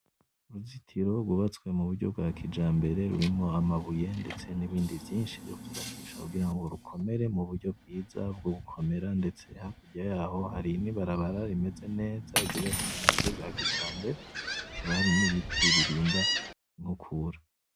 Uruzutiro rwubatswe mu buryo bwa kijambere rurimwo amabuye, ndetse n’ibindi vyinshi vyo kwubakisha kugira ngo rukomere mu buryo bwiza bwo gukomera ndetse hakurya yaho hari n’ibarabara rimeze neza ryubatswe mu buryo bwa kijambere, hakaba hari n’ibiti birinda inkukura.